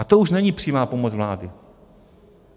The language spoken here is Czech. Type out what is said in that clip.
A to už není přímá pomoc vlády.